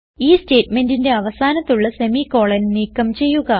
ഈ സ്റ്റേറ്റ്മെന്റിന്റെ അവസാനത്തുള്ള semi കോളൻ നീക്കം ചെയ്യുക